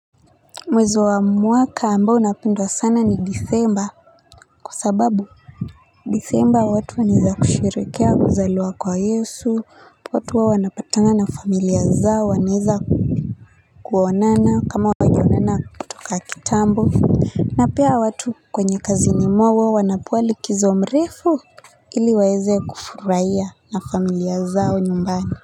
Mwezi wa mwaka ambao napendwa sana ni disemba. Kwa sababu disemba watu wanaweza kusheherekea kuzaliwa kwa Yesu watu huwa wanapatana na familia zao wanaweza kuonana kama hawajaonana kutoka kitambo na pia watu kwenye kazini mwao huwa wanapewa rikizo mrefu ili waweze kufurahia na familia zao nyumbani.